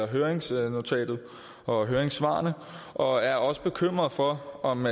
høringsnotatet og høringssvarene og er også bekymrede for om